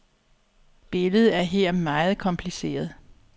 Billedet er her meget kompliceret.